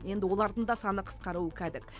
енді олардың да саны қысқаруы кәдік